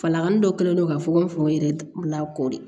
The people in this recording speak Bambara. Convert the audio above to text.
Falangani dɔ kɛlen do ka fogo n fa n yɛrɛ la koori